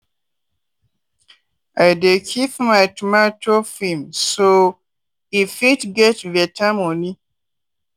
i dey keep my tomato firm so i fit get better money.